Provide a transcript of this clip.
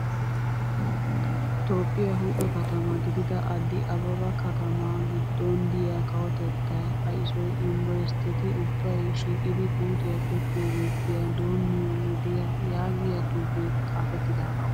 Toophphiyaa huuphe katamaa gidida addi ababaa katamaa giddon diyaa kawotettaa ayisuwaa yunbburustteti ubbayi shiiqidi puutiyaa tokkiyaazuppiyaa doommiyoo wodiyaa yaagiyaa xuupee xaapettidaagaa.